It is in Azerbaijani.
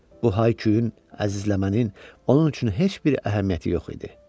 Bu hay-küyün, əzizləmənin onun üçün heç bir əhəmiyyəti yox idi.